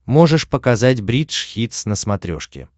можешь показать бридж хитс на смотрешке